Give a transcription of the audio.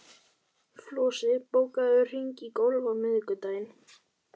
Flosi, bókaðu hring í golf á miðvikudaginn.